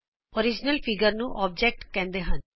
ਮੂਲ ਚਿੱਤਰ ਨੂੰ ਅੋਬਜੇਕਟ ਕਹਿੰਦੇ ਹਨ